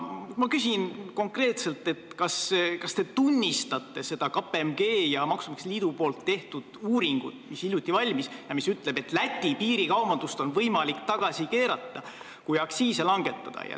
Ma küsin konkreetselt, kas te tunnistate seda KPMG ja maksumaksjate liidu uuringut, mis hiljuti valmis ja mis ütleb, et Läti piiril toimuvat piirikaubandust on võimalik tagasi keerata, kui aktsiise langetada.